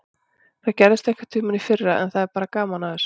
Það gerðist einhverntímann í fyrra en það er bara gaman að þessu.